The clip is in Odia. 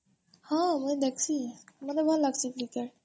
ହଁ ମୁଇଁ ଦେଖସି ମତେ ଭଲ୍ ଲାଗଶି କ୍ରିକେଟ